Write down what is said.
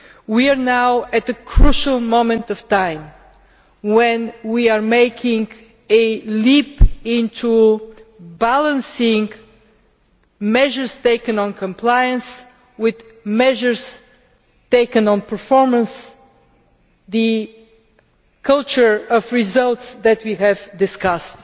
We are now at a crucial moment of time when we are making a leap into balancing measures taken on compliance with measures taken on performance the culture of results that we have discussed.